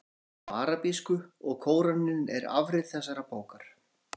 Bókin er á arabísku og Kóraninn er afrit þessarar bókar.